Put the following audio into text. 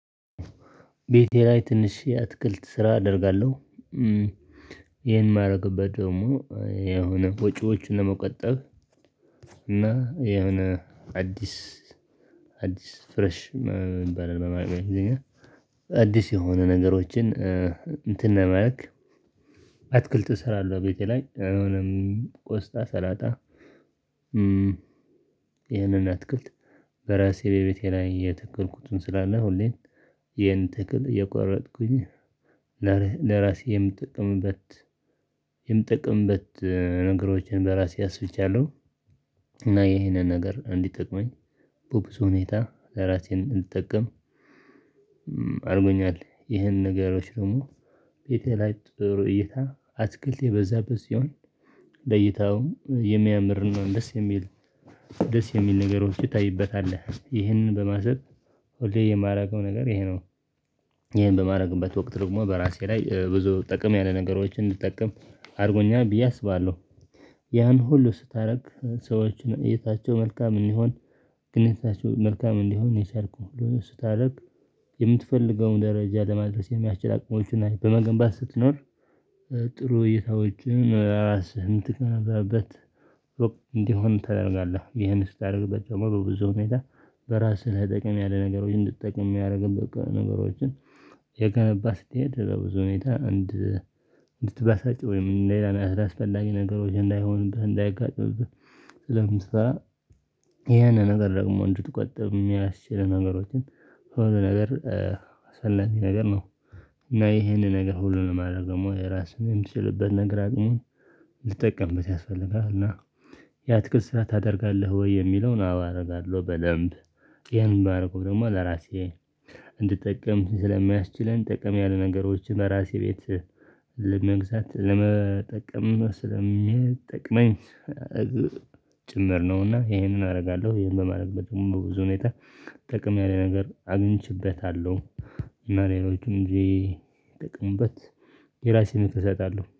ቤቴ ላይ ትንሽ የእትክልት ስራ አደርጋለሁ። ይሄን የማደርግበት ደግሞ የሆነ ወጪዎችን ለመቀጠብ እና የሆነ አዲስ አዲስ ፍረሽ እንባል አዲስ የሆነ ነገሮችን እንትን ለማድረግ መልክ አትክልት እሰራለሁ ቤቴ ላይ አሁንም ቆስጣ ሰላጣ። ይህንን አትክልት በራሴ በቤቴ ላይ የተከልኩትን ስላለሁኝ ይህን ትክል እየቋረጥኩኝ ለራሴ የምጠቅምበት የምጠቅምበት ነገሮችን በራሴ አስፍቻለው። እና ይሄንን ነገር እንዲጠቅመኝ በብዙ ሁኔታ ለራሴን እንድጠቀም አድርጎኛል። ይህን ነገሮች ደግሞ ቤቴ ላይ ጥሩ እይታ አትክልት የበዛበት ሲሆን ለይታውም የሚያምር ነው ደስ የሚል ደስ የሚል ነገሮች ይታይበታል ይህንን። በማሰብ ሁሌ የማደርገው ነገር ይሄ ነው። ይሄን በማድረግበት ወቅት ደግሞ በራሴ ላይ ብዙ ጥቅም ያለ ነገሮችን እንድጠቀም አድርጎኛል ብዬ አስባለሁ። ያን ሁሉ ስታደርግ ሰዎችን እይታቸው መልካም እንዲሆን ግን እይታቸው መልካም እንዲሆን ነው። የቻልኩትን ሁሉ ስታደርግ የምትፈልገውን ደረጃ ለማድረስ የሚያስችል አቅሞችን በመገንባት ስትኖር። ጥሩ እይታዎችን ነው ለራስህ እንትን እንዲሆን ተደርጋለህ። ይህን ስታደርግበት ደግሞ በብዙ ሁኔታ በራስህ ለጠቅም ያለ ነገሮች እንድትጠቅም ያደርግበት ነገሮችን እየገነባህ ስትሄድ በብዙ ሁኔታ እንድትበሳጭ ወይም ሌላ አስራ አስፈላጊ ነገሮች እንዳይሆንብህ እንዳይጋጥምብህ። ለምሳሌ ይሄን ነገር ደግሞ እንድትቆጥብ የሚያስችል ነገሮችን ሁሉ ነገር ሰላም ነገር ነው። እና ይሄንን ነገር ሁሉንም አደረገው ደግሞ የራሱን የምትችልበት ነገር ግን ልጠቀምበት ያስፈልጋል እና ያትክል ስራ ታደርጋለህ ወይ የሚለውን አዎ አደርጋለሁ? በደንብ ይሄን ባደርገው ደግሞ ለራሴ እንድጠቀም ስለማያስችለን ጥቅም ያለ ነገሮችን ለራሴ ቤት ለመግዛት ለመጠቀም ስለሚጠቅመኝ ጭምር ነውና ይሄንን አደርጋለሁ። ይሄንን በማድረግ በደንብ ብዙ ሁኔታ ጥቅም ያለ ነገር አግኝቼበታለሁ። እና ሌሎችም እንጂ ጥቅምበት የራሴን እሰጣለሁ